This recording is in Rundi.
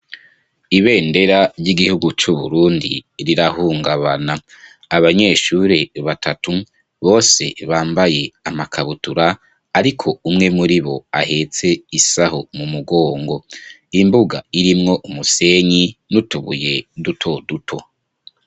Ibendera ry'igihugu c'Uburundi, rirahungabana; abanyeshure batatu, bose bambaye amakabutura, ariko umwe muri bo, ahetse isaho mu mugongo; imbuga irimwo umusenyi, n'utubuye dutoduto.